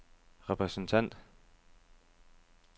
repræsentant